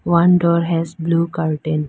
one door has blue curtain.